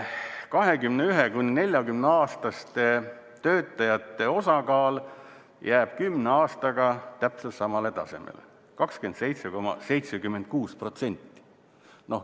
21–40-aastaste töötajate osakaal jääb 10 aastaga täpselt samale tasemele – 27,76%.